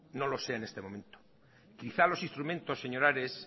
no lo sea en este momento quizá los instrumentos señor ares